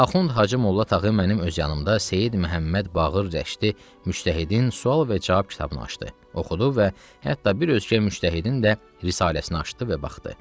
Axund Hacımolla Tağı mənim öz yanımda Seyid Məhəmməd Baqir Rəştı müştəhidin sual və cavab kitabını açdı, oxudu və hətta bir özgə müştəhidin də risaləsini açdı və baxdı.